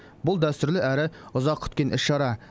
бұл дәстүрлі әрі ұзақ күткен іс шара